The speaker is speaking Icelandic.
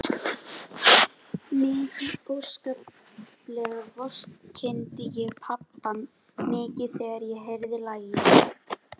Mikið óskaplega vorkenndi ég pabba mikið þegar ég heyrði lagið.